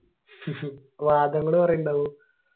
കൊറേ ഒണ്ടാകൂ